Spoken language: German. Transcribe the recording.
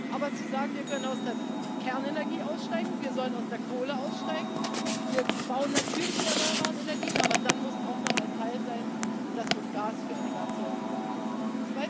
Aber wenn wir sagen Wir können aus der Kernenergie aussteigen, wir sollen aus der Kohle aussteigen, wir bauen natürliche erneuerbare Energien, dann brauchen wir auch noch einen Teil, und das wird Gas für eine ganze Weile sein.